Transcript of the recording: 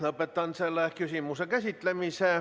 Lõpetan selle küsimuse käsitlemise.